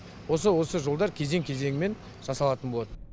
осы осы жолдар кезең кезеңмен жасалатын болады